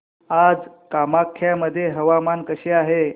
आज कामाख्या मध्ये हवामान कसे आहे